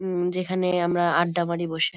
উম যেখানে আমরা আড্ডা মারি বসে।